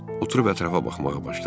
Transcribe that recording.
Oturub ətrafa baxmağa başladım.